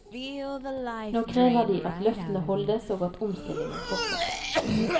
Nå krever de at løftene holdes og at omstillingen fortsetter.